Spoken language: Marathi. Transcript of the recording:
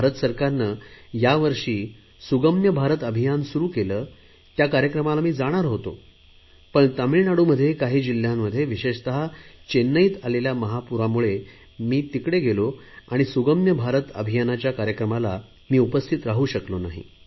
भारत सरकारने यावर्षी सुगम्य भारत अभियान सुरु केले त्या कार्यक्रमाला मी जाणार होतो पण तामिळनाडूत काही जिल्हयांमध्ये विशेषत चेन्नईत आलेल्या महापुरामुळे मी तिकडे गेलो त्यामुळे सुगम्य भारत अभियानाच्या कार्यक्रमाला उपस्थित राहू शकलो नाही